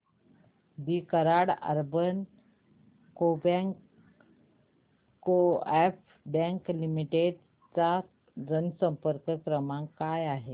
दि Karad urban co-op bank limited चा जनसंपर्क क्रमांक काय आहे